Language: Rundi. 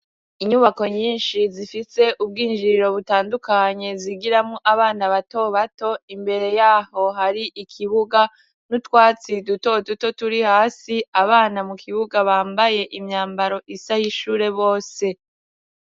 Inyubako nyinshi zifise ubwinjiriro butandukanye zigiramwo abana bato bato, imbere yaho hari ikibuga n'utwatsi duto duto turi hasi, abana mu kibuga bambaye imyambaro isa y'ishure bose.